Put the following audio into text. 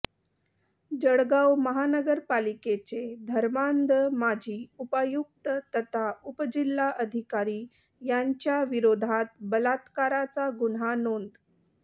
जळगाव महानगरपालिकेचे धर्मांध माजी उपायुक्त तथा उपजिल्हाधिकारी यांच्या विरोधात बलात्काराचा गुन्हा नोंद